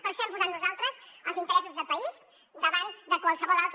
per això hem posat nosaltres els interessos de país davant de qualsevol altre